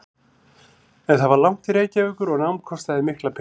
En það var langt til Reykjavíkur og nám kostaði mikla peninga.